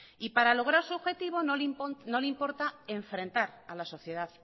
y para lograr su objetivo no le importa enfrentar a la sociedad